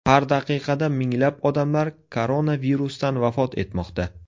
Har daqiqada minglab odamlar koronavirusdan vafot etmoqda.